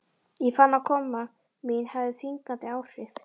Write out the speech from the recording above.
Ég fann að koma mín hafði þvingandi áhrif.